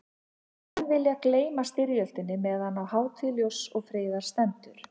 Menn vilja gleyma styrjöldinni meðan á hátíð ljóss og friðar stendur.